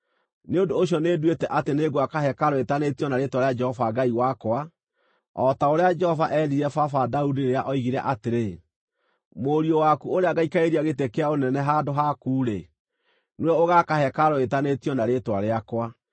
Nĩ ũndũ ũcio nĩnduĩte atĩ nĩngwaka hekarũ ĩĩtanĩtio na Rĩĩtwa rĩa Jehova Ngai wakwa, o ta ũrĩa Jehova eerire baba Daudi rĩrĩa oigire atĩrĩ, ‘Mũriũ waku ũrĩa ngaikarĩria gĩtĩ kĩa ũnene handũ haku-rĩ, nĩwe ũgaaka hekarũ ĩĩtanĩtio na Rĩĩtwa rĩakwa.’